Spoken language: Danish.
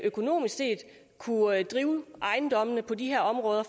økonomisk set kunne drive ejendommene på de her områder